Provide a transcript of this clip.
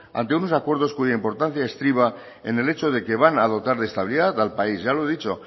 ante unos acuerdos cuya importancia estriba en el hecho de que van a dotar de estabilidad al país ya lo he dicho